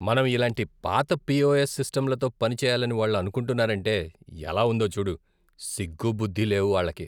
మనం ఇలాంటి పాత పిఓఎస్ సిస్టంలతో పనిచేయాలని వాళ్ళు అనుకుంటున్నారంటే ఎలా ఉందో చూడు. సిగ్గు, బుద్ది లేవు వాళ్ళకి!